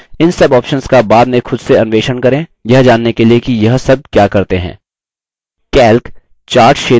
इन सब options का बाद में खुद से अन्वेषण करें यह जानने के लिए कि यह सब क्या करते हैं